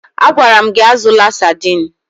Agwara m gị azụla Sadiin!